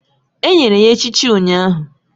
Enyere ya echichi ụnyahụ